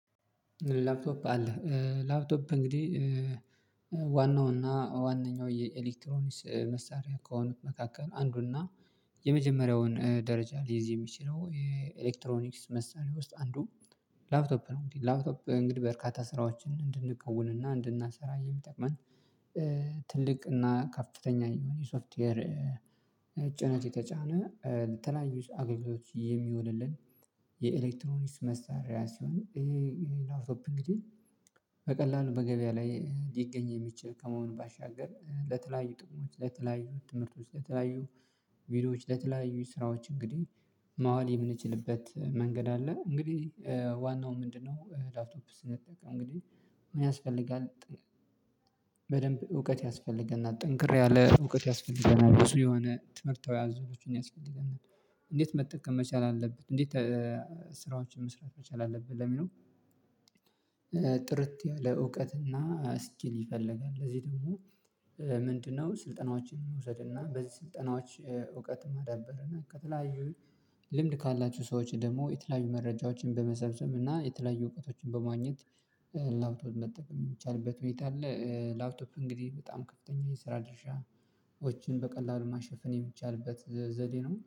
ላፕቶፕ አለ ላፕቶፕ እንግዲህ ዋናው እና ዋናው የኤሌክትሮኒስ መሳሪያ ከሆኑት መካከል አንዱና የመጀመሪያውን ደረጃ ሊይዝ የሚችለው የኤሌክትሮኒክስ መሳሪያ ውስጥ አንዱ ላፕቶፕ ነው። እንግዲህ ላፕቶፕ እንግዲህ በእርካታ ስራዎችን እንድንከውን እንድናሰራ የሚጠቅመን ትልቅ እና ከፍተኛ የሆነ የሶፍትዌር ጭነት የተጫነ የተለያዩ አገልግሎቶች የሚሆንልን የኤሌክትሮኒክስ መሳሪያ ሲሆን ይሄ ይሄ ላፕቶፕ እንግዲህ በቀላሉ በገቢያ ላይ ሊገኝ የሚችል ከመሆኑ ባሻገር ለተለያዩ ጥቅሞች ለተለያዩ ትምህርቶች ለተለያዩ ቪዲዮዎች ለተለያዩ ስራዎች እንግዲህ ማዋል የምንችልበት መንገድ አለ። እንግዲህ ዋናው ምንድነው? ላፕቶፕ ስንጠቀም እንግዲህ ምን ያስፈልጋል? በደንብ እውቀት ያስፈልገናል ጠንክር ያለ እውቀት ያስፈልገናል። ብዙ የሆነ ትምህርታዊ አዞሮቹን ያስፈልገናል። እንዴት መጠቀም መቻል አለብህ። እንዴት ስራዎችን መስራት መቻል አለብህ። ጥርት ያለ እውቀትና ስኪል ይፈልጋል። ለዚህ ደግሞ ምንድነው ስልጠናዎችን መውሰድና በዚህ ስልጠናዎች እውቀት ማዳበር እና ከተለያዩ ልምድ ካላችው ሰዎች ደግሞ የተለያዩ መረጃዎችን በመሰብሰብ እና የተለያዩ እውቀቶችን በማግኘት ላውትፓ መጠቀም ሚቻልበት ሁኔታ አለ። ላውቶፓ እንግዲህ በጣም ከፍተኛ የስራ ድርሻዎችን በቀላሉ ማሸፈን የሚቻልበት ዘዴ ነው